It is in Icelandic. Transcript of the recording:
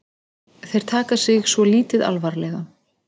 Þeir taka sig svo lítið alvarlega